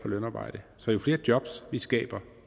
på lønarbejde så jo flere jobs vi skaber